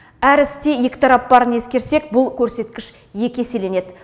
әр істе екі тарап барын ескерсек бұл көрсеткіш екі еселенеді